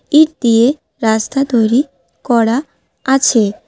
ইট দিয়ে রাস্তা তৈরি করা আছে।